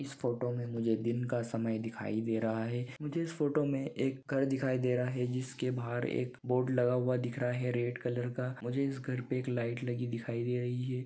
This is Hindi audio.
इस फोटो मे मुझे दिन का समय दिखाई दे रहा है मुझे इस फोटो मे एक घर दिखाई दे रहा है जिसके बाहर एक बोर्ड लगा हुआ दिख रहा है रेड कलर का मुझे इस घर पे एक लाइट लगी दिखाई दे रही है।